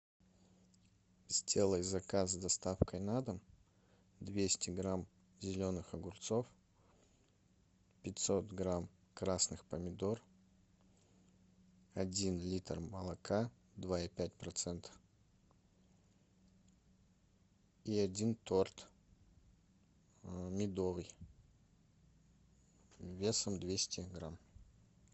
сделай заказ с доставкой на дом двести грамм зеленых огурцов пятьсот грамм красных помидор один литр молока два и пять процента и один торт медовый весом двести грамм